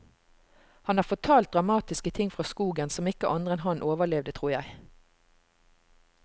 Han har fortalt dramatiske ting fra skogen som ikke andre enn han overlevde, tror jeg.